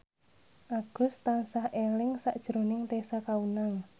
Agus tansah eling sakjroning Tessa Kaunang